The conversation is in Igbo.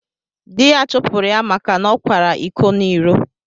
Dị́ ya chụpụrụ ya maka na ọ kwàrá ịkọ n'iró